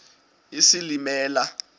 isilimela